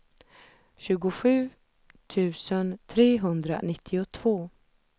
tjugosju tusen trehundranittiotvå